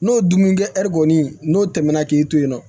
N'o dumunikɛ ɛri kɔni n'o tɛmɛna k'i to yen nɔ